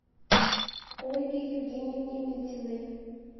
ольге евгеньевне митиной